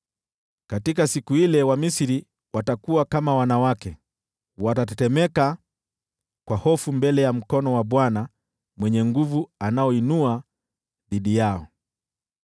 Katika siku ile Wamisri watakuwa kama wanawake. Watatetemeka kwa hofu mbele ya mkono wa Bwana Mwenye Nguvu Zote anaoinua dhidi yao.